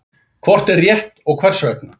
Hvort er rétt og hvers vegna?